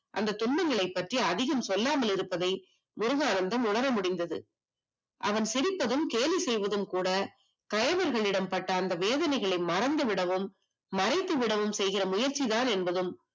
அந்த துன்பங்களை பற்றி அதிகம் சொல்லாமல் இருப்பதை முருகானந்தம் உணர முடிந்தது அவன் சிரித்ததும் கேலி செய்வதும் கூட கைவர்களின் இடம் பட்ட அந்த வேதனையை மறந்து விடவும் மறைத்து விட செய்கின்ற முயற்சிதான் என்பதும்